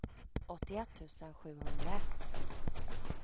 åttioett tusen sjuhundraett